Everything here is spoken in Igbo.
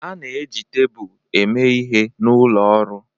A na-eji tebụl eme ihe n'ụlọ ọrụ